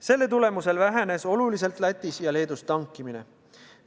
Selle tulemusel on oluliselt vähenenud Lätis ja Leedus tankimine.